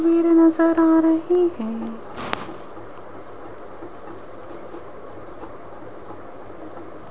भीड़ नजर आ रही है।